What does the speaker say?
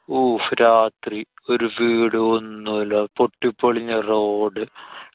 ഉഫ്. രാത്രി. ഒരു വീടോ ഒന്നുല്ല്യാ. പൊട്ടിപൊളിഞ്ഞ road.